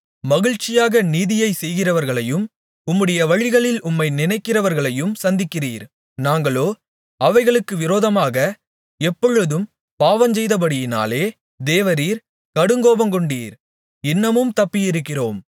மகிழ்ச்சியாக நீதியைச் செய்கிறவர்களையும் உம்முடைய வழிகளில் உம்மை நினைக்கிறவர்களையும் சந்திக்கிறீர் நாங்களோ அவைகளுக்கு விரோதமாக எப்பொழுதும் பாவஞ்செய்தபடியினாலே தேவரீர் கடுங்கோபங்கொண்டீர் இன்னமும் தப்பியிருக்கிறோம்